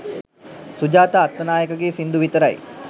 සුජාතා අත්තනායකගේ සිංදු විතරයි